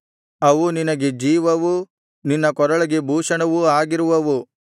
ಅವು ನಿನಗೆ ಜೀವವೂ ನಿನ್ನ ಕೊರಳಿಗೆ ಭೂಷಣವೂ ಆಗಿರುವವು